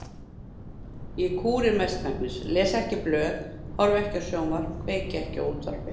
Ég kúri mestmegnis, les ekki blöð, horfi ekki á sjónvarp, kveiki ekki á útvarpi.